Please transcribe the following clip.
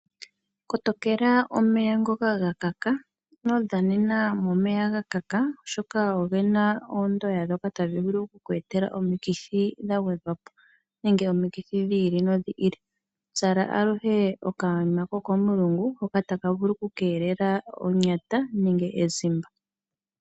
Kotokela omeya ngoka ga kaka, ino dhanena momeya ga kaka oshoka oge na oondoya ndhoka tadhi vulu okukweetela omikithi dha gwedhwapo, nenge omikithi dhi ili nodhi ili, zala aluhe okayima ko komulungu hoka taka vulu kukeelela onyata nenge ezimba.